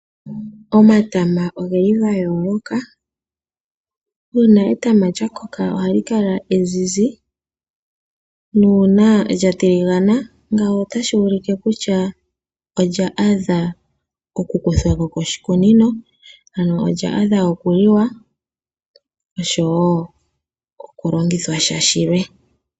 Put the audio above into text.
Omatama ogeli gayooloka, uuna etama lyakoka ohali kala ezizi, nuuna lyatiligana ngawo otashi ulike kutya olya adha oku kuthwako koshikunino, ano olya adha okuliwa osho woo oku longithwa sha shilwe.